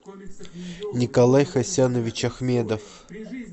николай хасянович ахмедов